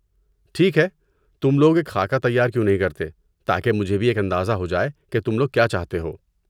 ٹھیک ہے، تم لوگ ایک خاکہ تیار کیوں نہیں کرتے تاکہ مجھے بھی ایک اندازہ ہو جائے کہ تم لوگ کیا چاہتے ہو۔